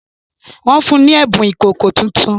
Wọ́n fún ni ẹ̀bùn ìkòkò tuntun